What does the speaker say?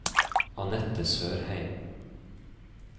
Annette Sørheim